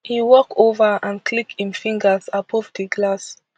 e walk ova and click im fingers above di glass